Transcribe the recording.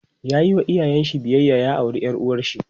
yayi wa iyayen sa biyayya ya aure ƴar uwarshi